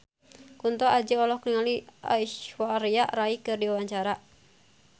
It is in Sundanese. Kunto Aji olohok ningali Aishwarya Rai keur diwawancara